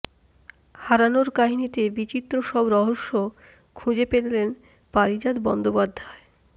হারানোর কাহিনিতে বিচিত্র সব রহস্য খুঁজে পেলেন পারিজাত বন্দ্যোপাধ্যায়